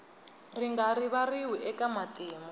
ri nga rivariwi eka matimu